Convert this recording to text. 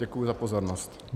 Děkuji za pozornost.